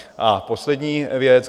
A poslední věc.